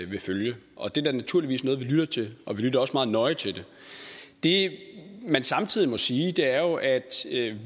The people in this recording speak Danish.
vil følge og det er da naturligvis noget vi lytter til og vi lytter også meget nøje til det det man samtidig må sige er jo at